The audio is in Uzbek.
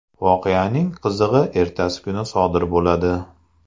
Voqeaning qizig‘i ertasi kuni sodir bo‘ladi.